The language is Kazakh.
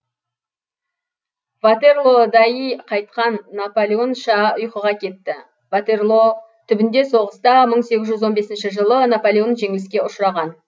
ватерлоодаи қайтқан наполеонша ұйқыға кетті ватерлоо түбінде соғыста мың сегізжүз он бесінші жылы наполеон жеңіліске ұшыраған